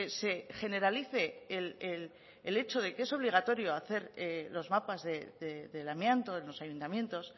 se generalice el hecho de que es obligatorio hacer los mapas del amianto en los ayuntamientos